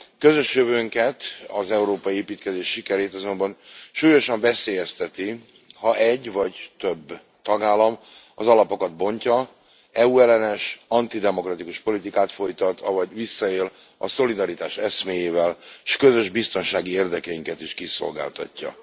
Közös jövőnket, az európai építkezés sikerét azonban súlyosan veszélyezteti, ha egy vagy több tagállam az alapokat bontja, EU ellenes, antidemokratikus politikát folytat, avagy visszaél a szolidaritás eszméjével, s közös biztonsági érdekeinket is kiszolgáltatja.